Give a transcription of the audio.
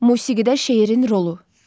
Musiqidə şeirin rolu.